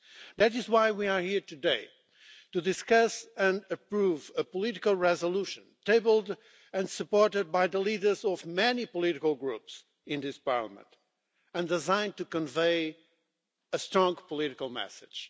That is why we are here today to discuss and approve a political resolution tabled and supported by the leaders of many political groups in this Parliament and designed to convey a strong political message.